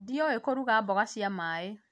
ndiũĩ kũruga mboga cia maĩ